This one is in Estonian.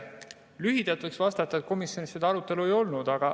Lühidalt võiks vastata, et komisjonis seda arutelu ei olnud.